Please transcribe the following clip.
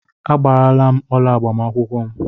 Agbaara m ọla agbamakwụkwọ m.